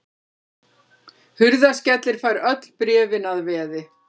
Hurðaskellir fær öll bréfin að veði.